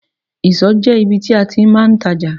Ìsọ̀ jẹ́ ibi tí a ti máa ń tajà.